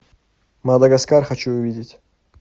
мадагаскар хочу увидеть